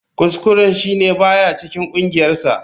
Kuskuren shi ne ba ya cikin kungiyarsa.